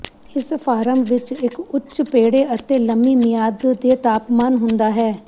ਇਸ ਫਾਰਮ ਵਿੱਚ ਇੱਕ ਉੱਚ ਪੇੜੇ ਅਤੇ ਲੰਮੀ ਮਿਆਦ ਦੇ ਤਾਪਮਾਨ ਹੁੰਦਾ ਹੈ